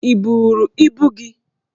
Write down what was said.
Ị buuru ibu gị?